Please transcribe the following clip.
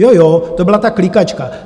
Jo, jo, to byla ta klikačka.